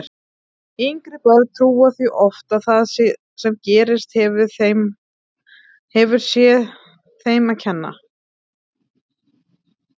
Yngri börn trúa því oft að það sem gerst hefur sé þeim að kenna.